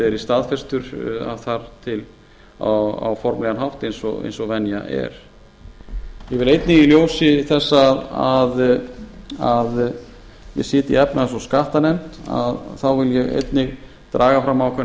verið staðfestur á formlegan hátt eins og venja er ég vil einnig í ljósi þess að ég sit í efnahags og skattanefnd einnig draga fram ákveðnar